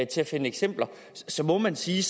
til at finde eksempler må man sige